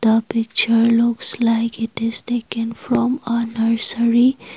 a picture looks like it is taken from a nursery.